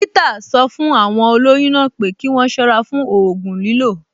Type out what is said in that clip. Dọ́kítà sọ fún àwọn olóyún náà pé kí wọ́n ṣọ́ra fún ògùn lílò